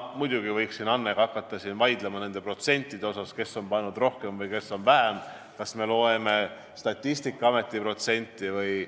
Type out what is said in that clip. Ma muidugi võiksin hakata Annega siin vaidlema nende protsentide üle, et kes on pannud rohkem ja kes vähem, kas me loeme Statistikaameti protsente või